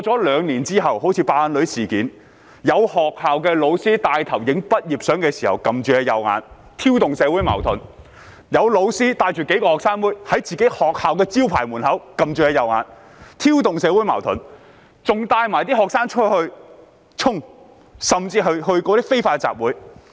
兩年過去，就如"爆眼女"事件，有學校教師拍攝畢業照時，帶頭按着右眼，挑動社會矛盾；有教師領着數名"學生妹"，在自己學校門口的招牌前按着右眼，挑動社會矛盾；有些還帶領學生出去"衝"，甚至參與非法集會。